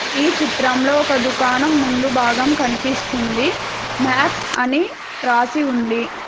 ఈ చిత్రంలో ఒక దుకాణం ముందు భాగం కనిపిస్తుంది మ్యాక్స్ అని రాసి ఉంది.